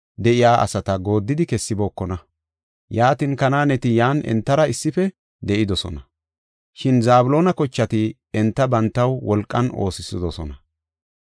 Aseera kochati Akon, Sidoonan, Ahilaaban, Akziiban, Helban, Afeeqaninne Rehooban de7iya asata gooddi kessibookona.